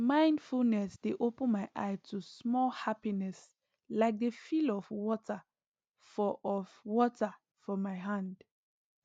mindfulness dey open my eye to small happiness like the feel of water for of water for my hand